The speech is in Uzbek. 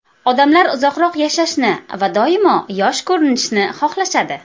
Odamlar uzoqroq yashashni va doimo yosh ko‘rinishni xohlashadi.